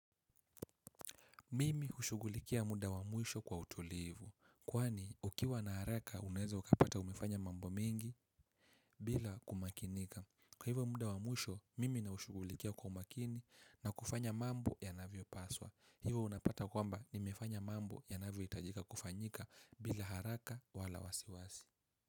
Mimi hushugulikia muda wa mwisho kwa utulivu. Kwani, ukiwa na haraka, uneweza ukapata umefanya mambo mengi bila kumakinika. Kwa hivyo muda wa mwisho, mimi na ushugulikia kwa umakini na kufanya mambo yanavyo paswa. Hivyo unapata kwamba nimefanya mambo yanavyo hitajika kufanyika bila haraka wala wasiwasi.